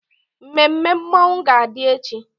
Mmemme mmọnwụ ga-adị echi.